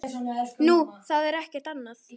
Nú, það er ekkert annað.